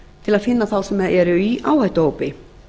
til að finna þá sem eru í áhættuhópi